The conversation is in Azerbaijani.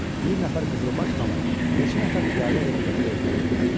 Bir nəfər qızılbaş xanı neçə nəfər piyadə ilə birlikdə öldürüldü.